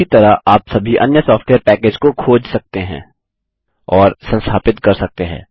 उसी तरह आप सभी अन्य सॉफ्टवेयर पैकेज को खोज सकते हैं और संस्थापित कर सकते हैं